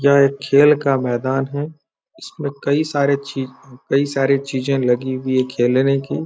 यह एक खेल का मैदान है इसमें कई सारे ची कई सारी चीजें लगी हुई है खेलने की।